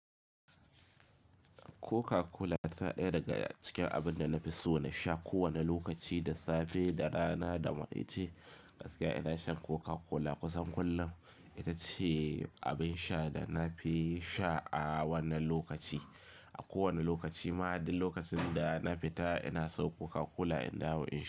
Coca-Cola tana ɗaya daga cikin abun da na fi so na sha kowane lokaci, da safe, da rana, damarai che. Gaskiya ina shan Coca-Cola kusan kullum. Ita ce abin sha na na fi sha a wannan lokaci. A kowane lokaci. Ma duk lokacin da na fita ina sawo Coca-Cola in dawo in sha.